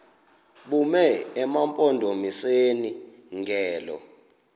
bume emampondomiseni ngelo